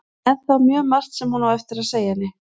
Það er ennþá mjög margt sem hún á eftir að segja henni.